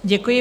Děkuji.